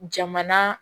Jamana